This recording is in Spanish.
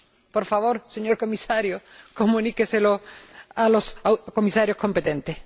Por favor, señor Comisario, comuníqueselo a los Comisarios competentes.